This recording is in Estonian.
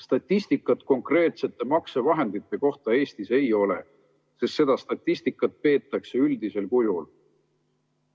Statistikat konkreetsete maksevahendite kohta Eestis ei ole, sest seda statistikat peetakse üldisel kujul.